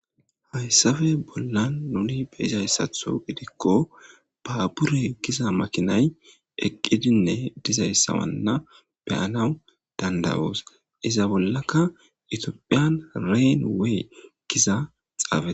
hayssafe bolla nuni be'izayissaththo gidikko babure giza makinay eqqidinne dizayssa beyanawu dandayoos iza bollaka tophphiya reyn wey giza xaafe